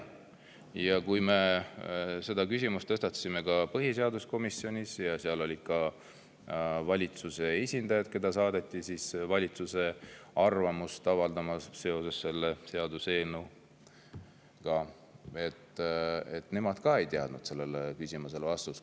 Ja kui me selle küsimuse tõstatasime põhiseaduskomisjonis, kus olid ka valitsuse esindajad, kes saadeti valitsuse arvamust avaldama selle seaduseelnõu kohta, siis ka nemad ei teadnud sellele küsimusele vastust.